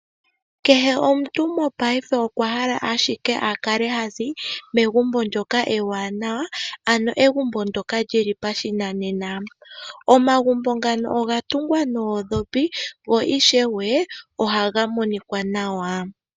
Kehe omuntu mongaashingeyi okwa hala ashike a kale ha zi megumbo ndyoka ewaanawa ano li li pashinanena. Omagumbo ngano oga tungwa noondhopi, go oha ga monika nawa.